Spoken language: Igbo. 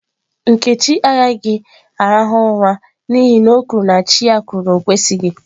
Nkechi agaghi ura n'ihi na o kwuru na chi ya kwuru na o kwesịghị.